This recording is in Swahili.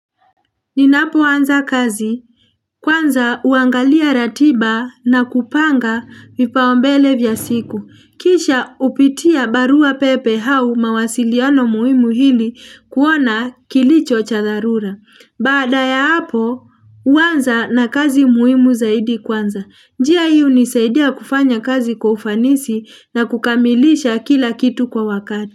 Ninapoanza kazi, kwanza uangalia ratiba na kupanga vipaumbele vya siku. Kisha upitia barua pepe hau mawasiliano muhimu hili kuona kilicho cha dharura. Baada ya hapo, huwanza na kazi muhimu zaidi kwanza. Njia hi unisaidia kufanya kazi kufanisi na kukamilisha kila kitu kwa wakati.